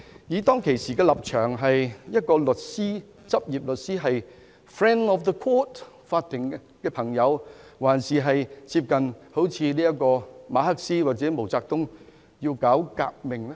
他當時的立場究竟是執業律師、法庭的朋友，還是接近馬克思或毛澤東，要搞革命呢？